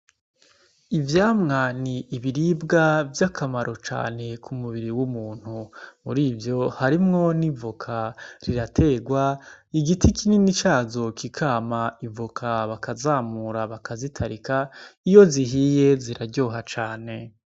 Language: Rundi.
Ivyamwa ni ibiribwa vy'akamaro cane ku mubiri w'umuntu , muri ivyo harimwo n'ivoka riraterwa igiti kinini cazo kikama ivoka bakazamura bakazitarika iyo zihiye ziraryoha cane.